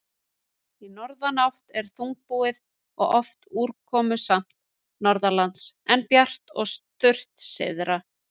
Í norðanátt er þungbúið og oft úrkomusamt norðanlands, en bjart og þurrt syðra.